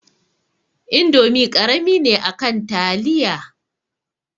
Indomi karami ne akan taliya